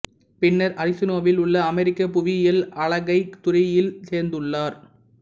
பின்னர் அரிசோனாவில் உள்ள அமெரிக்க புவியியல் அளக்கைத் துறையில் சேர்ந்துள்ளார்